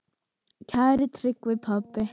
Kæri Tryggvi pabbi.